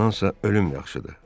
Bundansa ölüm yaxşıdır.